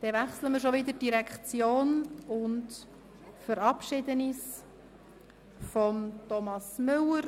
Damit wechseln wir schon wieder die Direktion und verabschieden uns von Thomas Müller.